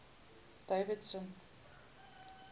davidson